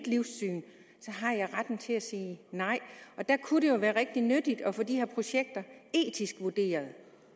livssyn så har retten til at sige nej der kunne det jo være rigtig nyttigt at få de her projekter etisk vurderet